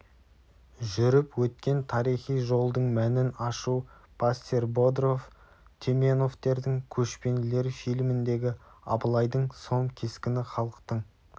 жүріп өткен тарихи жолдың мәнін ашу пассер бодров теменовтердің көшпенділер фильміндегі абылайдың сом кескіні халықтың